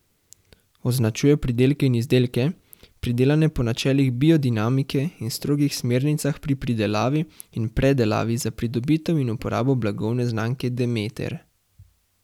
Označuje pridelke in izdelke, pridelane po načelih biodinamike in strogih smernicah pri pridelavi in predelavi za pridobitev in uporabo blagovne znamke Demeter.